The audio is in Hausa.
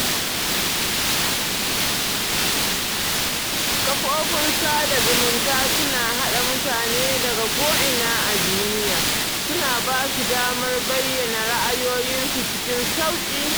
Kafofin sada zumunta suna haɗa mutane daga ko'ina a duniya, suna ba su damar bayyana ra'ayoyinsu cikin sauƙi